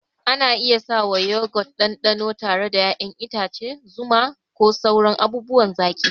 Ana iya sawa Yogurt ɗanɗano tare da ƴaƴan itace, zuma, ko sauran abubuwan zaki.